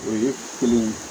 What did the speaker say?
O ye kelen ye